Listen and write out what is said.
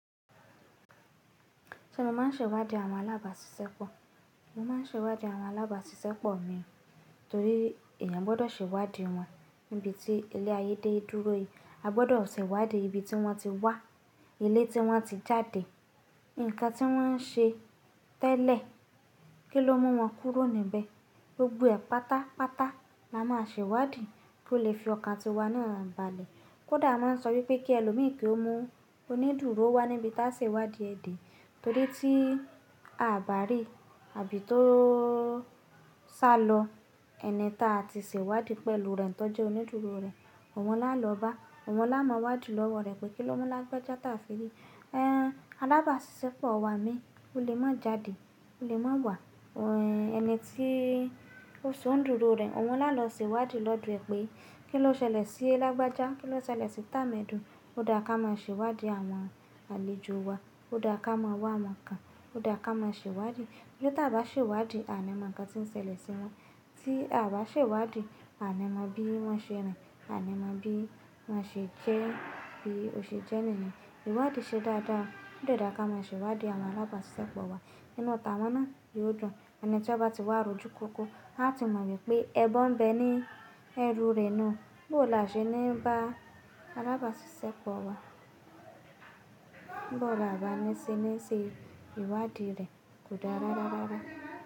Ṣé mo máa ń ṣèwádìí àwọn alábàásisẹ́pọ̀? Mo máa ń ṣèwádìí àwọn alábàásisẹ́pọ̀ mi torí èèyàn gbọ́dọ̀ ṣèwádìí wọn níbi tí ilé ayé dé dúró yìí. A gbọ́dọ̀ ṣèwádìí ibi tí wọ́n ti wá, ilé tí wọ́n ti jáde, ǹkan tí wọ́n ń ṣe tẹ́lẹ̀, kí ló mú wọn kúrò níbẹ̀. Gbogbo ẹ̀ pátápátá la máa ṣèwádìí kí ó lè fi ọkàn ti wa ní wa naa balẹ̀. Kódà a máa ń sọ wípé kí ẹlòmíràn kí ó mú onídùúró wá níbi táa ṣe ń wádìí ẹ̀dẹ̀ torí tí a ò bá rí àbí tó sá lọ, ẹni táa ti ṣèwádìí pẹ̀lú rẹ̀ tọ́jú onídùúró rẹ̀, òun máa lọ bá, òun máa máa wádìí lọ́wọ́ rẹ̀ pé kí ló mu lágbajà tàfìrì. Alábàásisẹ́pọ̀ wa mi, o lè má jàdi, o lè má wà, ẹ̀ ẹni tí ó so nídùúró rẹ̀, òun máa lọ ṣèwádìí lọ́dọ̀ ẹ pé kí ló ṣẹlẹ̀ sí ẹ lágbajà, kí ló ṣẹlẹ̀ sí tà mẹ́dùn. Ó dà ká máa ṣèwádìí àwọn àlejò wa, ó dà ká máa wá wọn kan, ó dà ká máa ṣèwádìí. Tori ti à o bá ṣèwádìí, a ní mọ ǹkan tí ń ṣẹlẹ̀ sí won. Tí a bá ṣèwádìí, a ní mọ bí wọ́n ṣe rìn, a ní mọ bí wọ́n ṣe jẹ́ bí ó ṣe jẹ́ níiyen. Ìwádìí ṣe dáadáa, ó de dá ká máa ṣèwádìí àwọn alábàásisẹ́pọ̀ wa. Ínú t'awọn náà yóò dùn. Ẹni tí ó bá ti wà rojú kúkú, a ti mọ̀ wípé ẹbọ ń bẹ ní ẹrú rẹ̀ niun. Bó là ṣe ní bá alábàásisẹ́pọ̀ wa, bó là bá ni ṣe níṣe ìwádìí rẹ̀ kò dára dáradára.